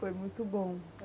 Foi muito bom.